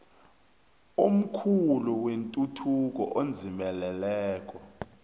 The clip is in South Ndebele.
omkhulu wetuthuko edzimeleleko